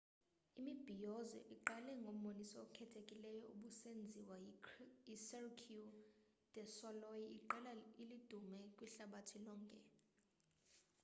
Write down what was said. imibhiyozo iqale ngomboniso okhethekileyo obusenziwa yicirque du solei iqela elidume kwihlabathi lonkel